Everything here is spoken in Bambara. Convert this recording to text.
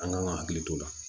An kan ka hakili t'o la